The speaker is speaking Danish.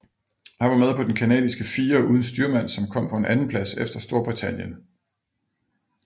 Han var med på den canadiske fire uden styrmand som kom på en andenplads efter Storbritannien